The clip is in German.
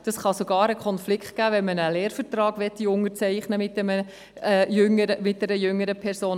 Das kann sogar zu einem Konflikt führen, wenn man mit einer jüngeren Person einen Lehrvertrag unterzeichnen möchte.